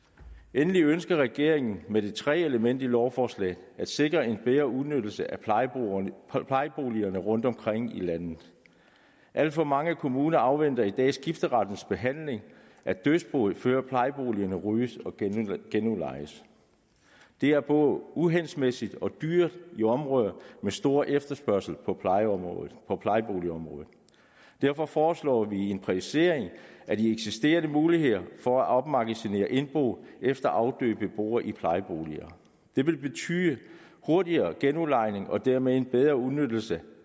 endelig ønsker regeringen med det tredje element i lovforslaget at sikre en bedre udnyttelse af plejeboligerne rundtomkring i landet alt for mange kommuner afventer i dag skifterettens behandling at dødsboet før plejeboligerne ryddes og genudlejes det er både uhensigtsmæssigt og dyrt i områder med stor efterspørgsel på plejeboligområdet derfor foreslår vi en præcisering af de eksisterende muligheder for at opmagasinere indbo efter afdøde beboere i plejeboliger det vil betyde hurtigere genudlejning og dermed en bedre udnyttelse